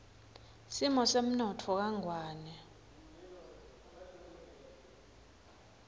simo semnotfo kangwane